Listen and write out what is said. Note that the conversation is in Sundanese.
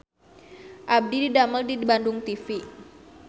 Abdi didamel di Bandung TV